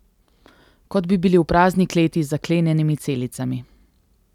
Kot bi bili v prazni kleti z zaklenjenimi celicami.